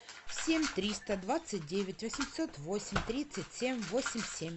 семь триста двадцать девять восемьсот восемь тридцать семь восемь семь